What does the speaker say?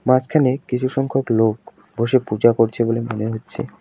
মাঝখানে কিছু সংখ্যক লোক বসে পূজা করছে বলে মনে হচ্ছে।